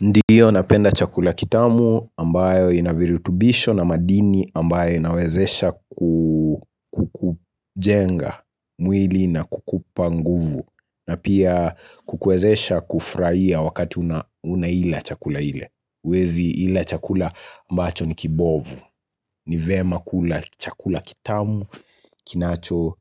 Ndiyo napenda chakula kitamu ambayo inavirutubisho na madini ambayo inawezesha ku kujenga mwili na kukupa nguvu na pia kukwezesha kufurahia wakati unaila chakula ile huezi ila chakula ambacho ni kibovu ni vema kula chakula kitamu kinacho